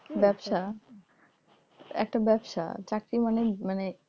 ব্যবসা একটা ব্যবসা, চাকরি মানেই মানে,